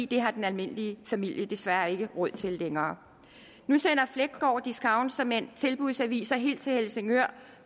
det har den almindelige familie desværre ikke råd til længere nu sender fleggaard discount såmænd tilbudsaviser helt til helsingør